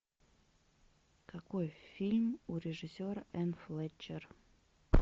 какой фильм у режиссера энн флетчер